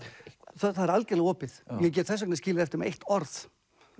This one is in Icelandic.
það er algjörlega opið ég get þess vegna skilið eftir mig eitt orð